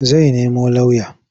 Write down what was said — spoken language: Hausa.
Zai nemo lauya.